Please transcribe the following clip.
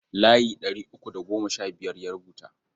Layi ɗari uku da goma sha biyar ya rubuta.